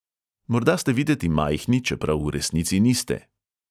Morda ste videti majhni, čeprav v resnici niste.